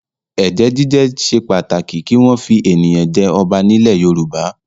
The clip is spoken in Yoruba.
Ẹ̀jẹ̀ jíjẹ ṣe pàtàkì kí wọ́n fi ènìyàn jẹ ọba nílẹ̀ Yorùbá.